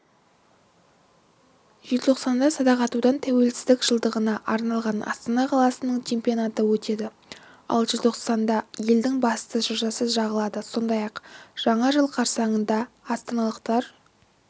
желтоқсанда садақ атудан тәуелсіздіктің жылдығына арналған астана қаласының чемпионаты өтеді ал желтоқсанда елдің басты шыршасы жағылады сондай-ақ жаңа жыл қарсаңында астаналықтар